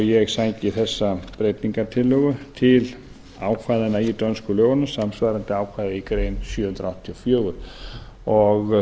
ég sæki þessa breytingartillögu til ákvæðanna í dönsku lögunum samsvarandi ákvæði í grein sjö hundruð áttatíu og fjögur það